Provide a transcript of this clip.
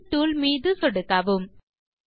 angle tool மீது சொடுக்கவும்